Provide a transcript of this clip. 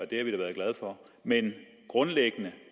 det har vi da været glade for men grundlæggende